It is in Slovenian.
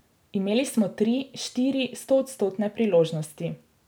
Imeli smo tri, štiri stoodstotne priložnosti.